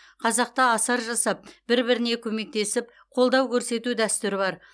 қазақта асар жасап бір біріне көмектесіп қолдау көрсету дәстүрі бар